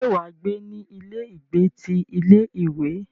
Ṣé wà á gbé ní ilé ìgbé ti ilé ìwé?